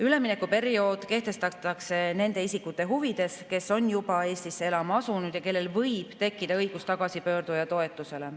Üleminekuperiood kehtestatakse nende isikute huvides, kes on juba Eestisse elama asunud ja kellel võiks tekkida õigus tagasipöörduja toetusele.